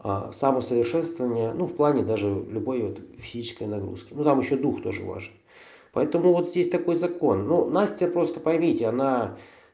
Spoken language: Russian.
а самосовершенствование ну в плане даже любой вот физической нагрузки ну там ещё дух тоже важен поэтому вот здесь такой закон ну настя просто поймите она